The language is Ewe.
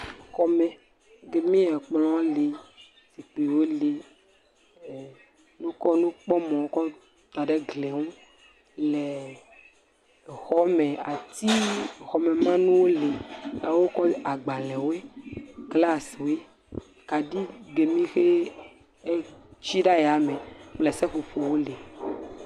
Xɔme ke xe ekplɔ le, zikpuiwo le, ee…wokɔ nukpɔmɔ kɔ da ɖe egli ŋu le exɔme, atiwo xɔmemanyuwo le, agbalẽwe, glasiewo, kaɖi ki mi xe tsi ɖe ayame kple seƒoƒoawo le.